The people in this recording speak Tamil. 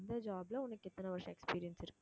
அந்த job ல உனக்கு எத்தனை வருஷம் experience இருக்கு